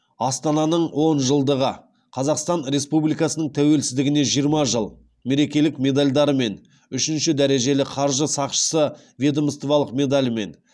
астананың он жылдығы қазақстан республикасының тәуелсіздігіне жиырма жыл мерекелік медальдарымен үшінші дәрежелі қаржы сақшысы ведомстволық медалімен